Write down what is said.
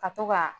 Ka to ka